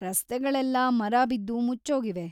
ರಸ್ತೆಗಳೆಲ್ಲಾ ಮರ ಬಿದ್ದು ಮುಚ್ಚೋಗಿವೆ.